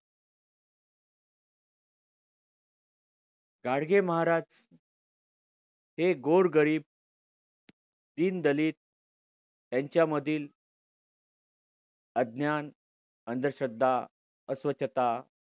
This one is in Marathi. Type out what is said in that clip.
गाडगे महाराज हे गोरगरीब दीनदलित त्यांच्यामधील अज्ञान अंधश्रद्धा अस्वच्छता